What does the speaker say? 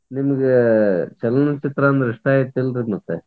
ನಿಮಗೆ ಚಲನಚಿತ್ರ ಅಂದ್ರ ಇಷ್ಟ ಐತಿಲ್ರಿ ಮತ್ತೆ?